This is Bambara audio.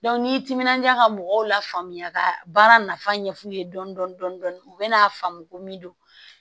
n'i timinandiya ka mɔgɔw lafaamuya ka baara nafa ɲɛf'u ye dɔɔnin dɔɔnin dɔɔnin dɔɔnin u bɛna'a faamu ko min don